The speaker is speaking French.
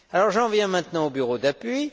J'en viens maintenant au bureau d'appui.